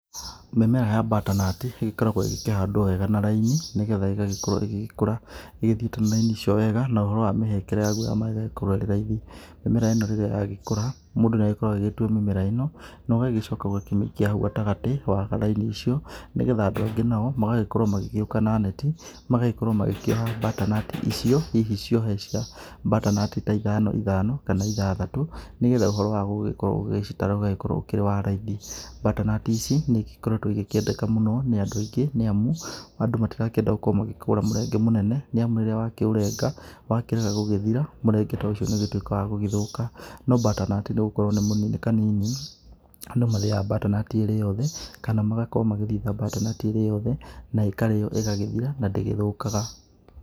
Mĩmera ya butternut ĩgĩkoragwo ĩkĩhandwo wega na raini, nĩgetha ĩgagĩkorwo ĩgĩkũra ĩthiĩte na raini icio wega na ũhoro wa mĩhere ya maĩ ĩgagĩkorwo ĩrĩ raithi, mĩmera ĩno rĩrĩa ĩragĩkũra mũndũ no agĩkorwo agĩtũa mĩmera ĩno, ũgagĩcoka ũgagĩkĩmĩikĩa haũ gatagatĩ wa raini icio, nĩgetha andũ agĩ nao magagĩkorwo magĩũka na netĩ magagĩkorwo magĩĩkĩra butternut icio hihi cĩohe cia butternut ta ithano ithano kana ĩthathatũ, nĩgetha ũhoro wa gũgĩkorwo ũgĩcitara ũgagĩkorwo ũrĩ wa raithi. Butternut ici nĩ ĩgĩkoretwo ĩgĩkendeka mũno nĩ andũ aingĩ, nĩ amũ andũ matĩrakĩenda magĩkorwo makĩgũra mũrenge mũnene, nĩ amũ rĩrĩa wakiũrenga wakĩrega gũgĩthira, mũrenge to ũcio nĩ ũgĩtũĩkaga wagũthũka, no butternut nĩgũkorwo nĩ kanini, andũ marĩaga butternut ĩ yothe kana magagĩkorwo magĩthĩga butternut ĩrĩ yothe na makarĩa magakĩnĩna na ndĩthũkaga.